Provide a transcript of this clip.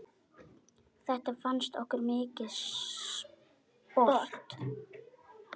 Þetta fannst okkur mikið sport.